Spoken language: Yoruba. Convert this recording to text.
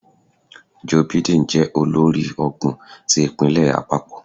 Joe Biden jẹ olórí ọgbọn ti ipinlẹ apapọ?